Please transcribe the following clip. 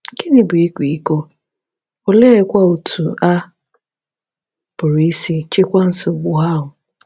Gịnị bụ ịkwa iko, oleekwa otú a pụrụ isi chịkwaa nsogbu ahụ?